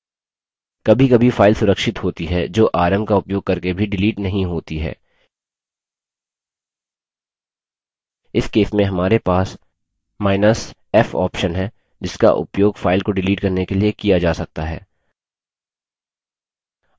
कभीकभी file सुरक्षित होती हैं जो rm का उपयोग करके भी डिलीट नहीं होती हैं इस case में हमारे पासf option है जिसका उपयोग file को डिलीट करने के लिए किया जा सकता है